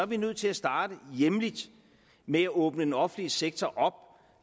vi nødt til at starte hjemme med at åbne den offentlige sektor op